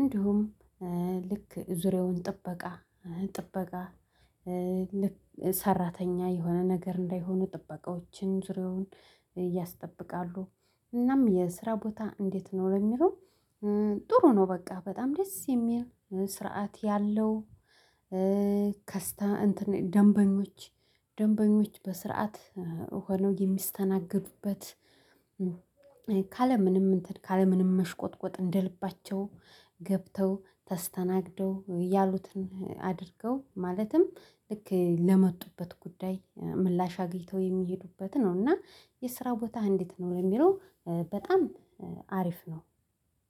እንዲሁም ልክ ዙሪያውን ጥበቃ ጥበቃ ልክ ሰራተኛ የሆነ ነገር እንዳይሆኑ ጥበቃዎችን ዙሪያውን ያስጠብቃሉ። እናም የስራ ቦታ እንዴት ነው ለሚለው? ጥሩ ነው በቃ በጣም ደስ የሚል ስርዓት ያለው። ከስታ ደንበኞች ደንበኞች በስርዓት ሆነው የሚስተናገዱበት። ካለ ምንም እንትን ካለ ምንም መሽቆጥቆጥ እንደልባቸው ገብተው ተስተናግደው ያሉትን አድርገው ማለትም ልክ ለመጡበት ጉዳይ ምላሽ አግልተው የሚሄዱበት ነው። እና የስራ ቦታ እንዴት ነው የሚለው? በጣም አሪፍ ነው።